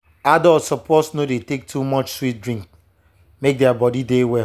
adults suppose no dey take too much sweet drink make their body dey well.